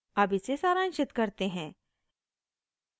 अब इसे सारांशित करते हैं